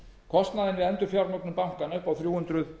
kostnaðinn við endurfjármögnun bankanna upp á þrjú hundruð